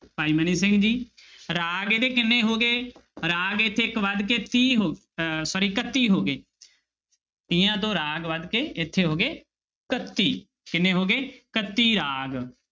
ਭਾਈ ਮਨੀ ਸਿੰਘ ਜੀ ਰਾਗ ਇਹਦੇ ਕਿੰਨੇ ਹੋ ਗਏ, ਰਾਗ ਇੱਥੇ ਇੱਕ ਵੱਧ ਕੇ ਤੀਹ ਹੋ ਅਹ sorry ਇਕੱਤੀ ਹੋ ਗਏ ਤੀਹਾਂ ਤੋਂ ਰਾਗ ਵੱਧ ਕੇ ਇੱਥੇ ਹੋ ਗਏ ਇਕੱਤੀ, ਕਿੰਨੇ ਹੋ ਗਏ ਇਕੱਤੀ ਰਾਗ।